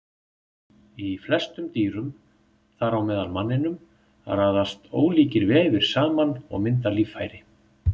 Í flestum dýrum, þar á meðal manninum, raðast ólíkir vefir saman og mynda líffæri.